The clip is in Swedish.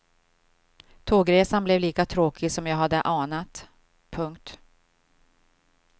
Tågresan blev lika tråkig som jag hade anat. punkt